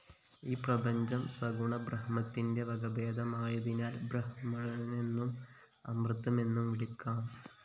ഈ പ്രപഞ്ചം സഗുണ ബ്രഹ്മത്തിന്റെ വകഭേദമായതിനാല്‍ ബ്രഹ്മമെന്നും അമൃതമെന്നും വിളിക്കാം